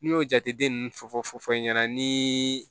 N'i y'o jate den ninnu fɔfɔ i ɲɛna ni